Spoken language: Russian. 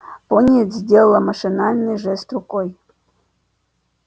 пониетс сделал машинальный жест рукой